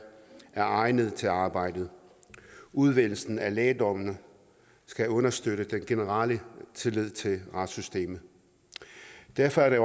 er egnede til arbejdet udvælgelsen af lægdommerne skal understøtte den generelle tillid til retssystemet derfor er det